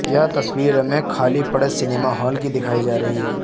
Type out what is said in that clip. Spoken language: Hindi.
यह तस्वीर हमें खाली पड़े सिनेमा हॉल की दिखाई जा रही है।